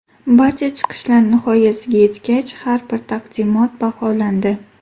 Barcha chiqishlar nihoyasiga yetgach, har bir taqdimot baholandi.